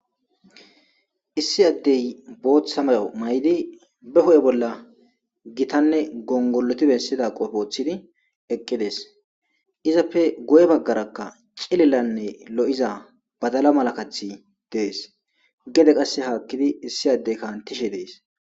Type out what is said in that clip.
Issi addey booththa mayo may7di be hu7e bolla gitanne gongoloti bessida qofoothidi eqqides izappe goye baggarakka cililanne lo7iza badala malakathi dees gede qasse haakkidi issi addey kaantishe dees.